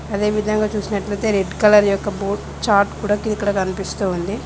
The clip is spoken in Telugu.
అదేవిధంగా చూసినట్లయితే రెడ్ కలర్ యొక్క బోర్డ్ చార్ట్ కూడా కి ఇక్కడ కనిపిస్తూ ఉంది.